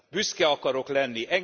Büszke akarok lenni!